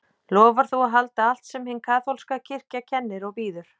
Lofar þú að halda allt sem hin kaþólska kirkja kennir og býður?